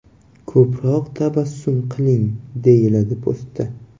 Ko‘proq tabassum qiling”, deyiladi postda.